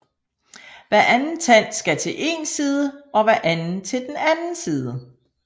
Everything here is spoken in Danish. Hver anden tand skal til én side og hver anden til den anden side